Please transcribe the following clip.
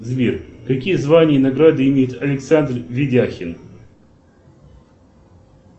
сбер какие звания и награды имеет александр видяхин